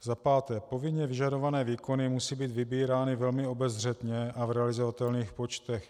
Za páté - povinně vyžadované výkony musí být vybírány velmi obezřetně a v realizovatelných počtech.